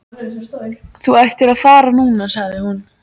Þú ættir að fara núna, sagði hún.